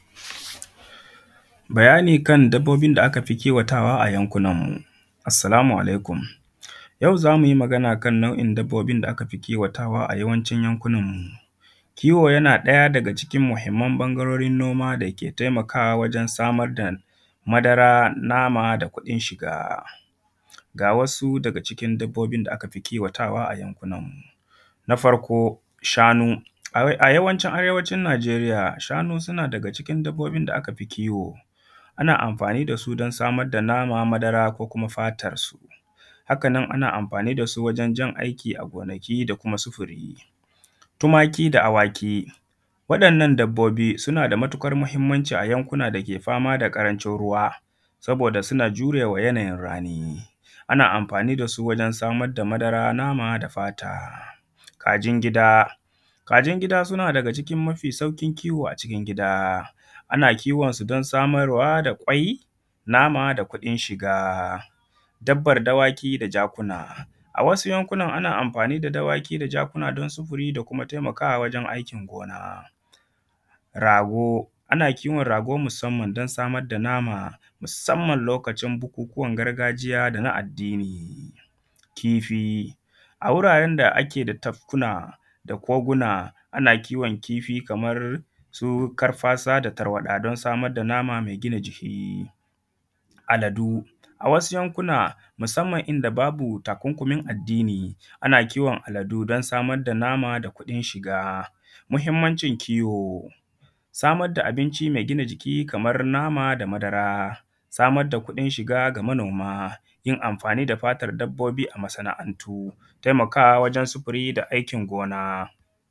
Bayani a kan dabbobin da aka fi kiwata wa a yankunan mu. Assala mu alaikum, yau za mu yi magana akan dabbobin da aka fi kiwa ta wa a yawancin yankunan mu, kiwo yana ɗaya daga cikin muhinman noma da ke taimakawa wajen samar da madara, nama da kuɗin shiga. Ga wasu daga cikin dabbobin da aka fi kiwatawa a yankunan mu na farko shanu, a yawancin a arewacin Najeriya, shanu suna daga cikin dabbobin da aka fi kiwo, ana amfani da su wajen samar da nama, madara ko kuma fatarsu. Haka nan ana amfani da su wajen jan aiki a gonaki da sufuri, tumaki da awaki waɗannan dabbobi suna da matuƙar mahinmanci a yankunan da ake fama da ƙarancin ruwa saboda suna jure ma yanayin rani, ana amfani da su wajen samar da madara, nama da fata. Kajin gida, kajin suna ɗaya da cikin mafi sauƙin kiwo a cikin gida ana kiwonsu dan samar wa da kwai, nama da kuɗin shiga, dabbar dawaki da jakuna a wasu ɓangarena ana amfani da dawaki da raguna don sufuri da kuma taimakawa wajen aikin gona, rago ana kiwon rago musannan don samar da nama musamman lokacin bukukunan gargajiya da na addini, kifi a wuraren da ake da tafkuna da koguna ana kiwon kifi kamar su karfasa da tarwaɗa don samar da nama me gina jiki. Aladu a wasu yankunan musammna inda babu takunkumin addini, ana kiwon aladu don samar da nama da kuɗin shiga. Muhinmancin kiwo samar da abinci me gina jiki kamar nama da madara, samar da kuɗin shiga ga manoma yin amfani da fatar dabbbobi a masana’antu, taimakawa wajen sufuri da aikin gona.